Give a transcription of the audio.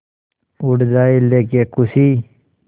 उड़ जाएं लेके ख़ुशी